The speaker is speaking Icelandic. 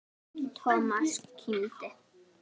Thomas kímdi.